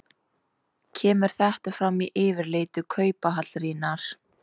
Kemur þetta fram í yfirliti Kauphallarinnar